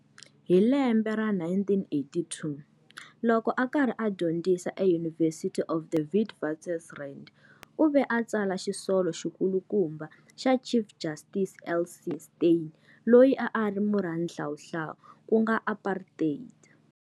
Hi lembe ra 1982, loko a ka ri a dyondzisa eUniversity of the Witwatersrand, u ve a tsala xisolo xikulukumba xa Chief Justice L. C. Steyn, loyi a a ri xihlawuhlawu ku nga apartheid.